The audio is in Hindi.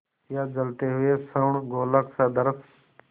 या जलते हुए स्वर्णगोलक सदृश